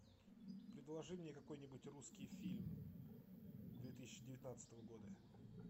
предложи мне какой нибудь русский фильм две тысячи девятнадцатого года